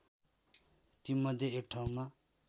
तीमध्ये एक ठाउँमा